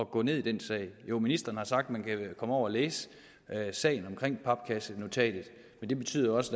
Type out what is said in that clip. gå ned i den sag jo ministeren har sagt man kan komme over at læse sagen om papkassenotatet men det betyder også